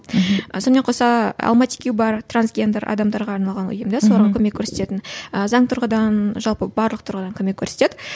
мхм сонымен қоса алматикию бар трансгендер адамдарға арналған ұйым соларға көмек көрсететін ы заң тұрғыдан жалпы барлық тұрғыдан көмек көрсетеді